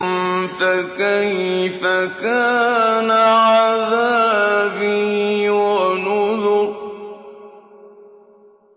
فَكَيْفَ كَانَ عَذَابِي وَنُذُرِ